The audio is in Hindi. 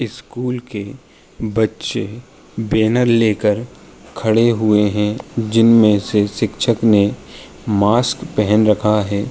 स्कूल के बच्चे बैनर लेकर खड़े हुए हैं। जिनमें से शिक्षक ने मास्क पहन रखा है।